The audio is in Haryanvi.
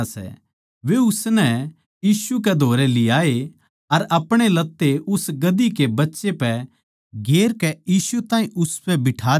वे उसनै यीशु कै धोरै लियाए अर अपणे लत्ते उस बच्चे पै गेरकै यीशु ताहीं उसपै बिठा दिया